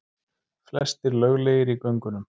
Flestir löglegir í göngunum